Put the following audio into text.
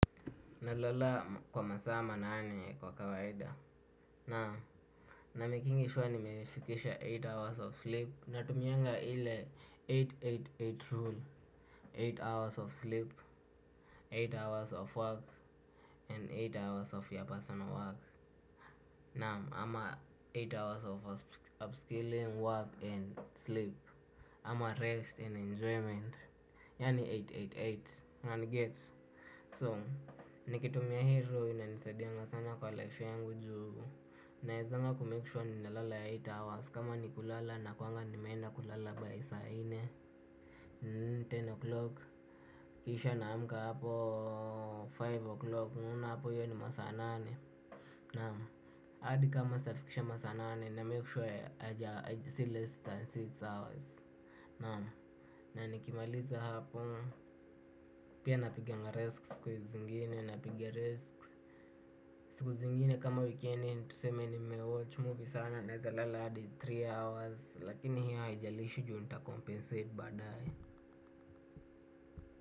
Nalala kwa masaa manane kwa kawaida. Na namekingi sure nimefikisha nane hours of sleep. Natumianga ile mia nane na themanini na nane rule nane hours of sleep, nane hours of work and nane hours of your personal work. Naam ama nane hours of upskilling, work and sleep. Ama rest and enjoyment. Yaani mia nane na themanini na nane. Unaniget? So, nikitumia hizo inanisadianga sana kwa life yangu juu naezanga ku make sure ninalala nane hours. Kama ni kulala nakuwanga nimeenda kulala by saa nne kumi o'clock. Kisha naamka hapo tano o'clock. Unaona hapo hiyo ni masaa nane. Naam hadi kama sijafikisha masaa nane na make sure si less than sita hours. Naam. Na nikimaliza hapo pia napiganga risk siku zingine napiga risk. Siku zingine kama wikendi tuseme ni mewatch movie sana naezalala hadi tatu hours lakini hiyo haijalishi juu nita compensate baadaye.